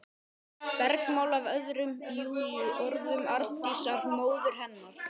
Bergmál af orðum Júlíu, orðum Arndísar, móður hennar.